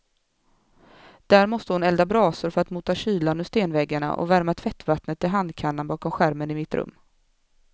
Där måste hon elda brasor för att mota kylan ur stenväggarna och värma tvättvattnet till handkannan bakom skärmen i mitt rum.